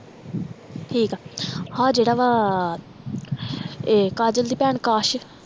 ਠੀਕ ਆ ਆਹ ਜਿਹੜਾ ਵਾ ਏ ਕਾਜਲ ਦੀ ਭੈਣ ਕਾਸ਼